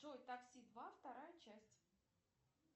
джой такси два вторая часть